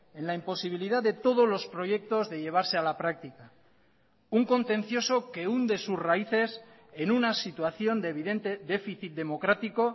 en la imposibilidad de todos los proyectos de llevarse a la práctica un contencioso que hunde sus raíces en una situación de evidente déficit democrático